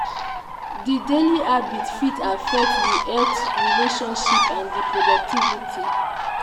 di daily habits fit affect di health relationships and di productivity.